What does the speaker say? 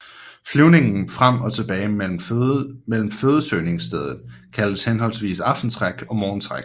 Flyvningen frem og tilbage mellem fødesøgningsstedet kaldes henholdsvis aftentræk og morgentræk